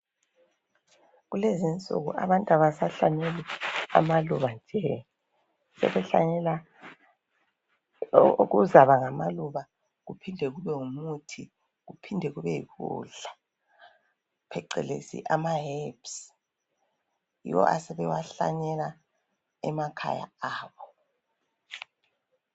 Kulezinsuku abantu abasahlanyeli amaluba nje, sebehlanyela okuzaba ngamaluba, kuphinde kube ngumuthi, kuphinde kube yikudla pheqelezi ama herbs. Yiwo asebewahlanyela emakhaya abo.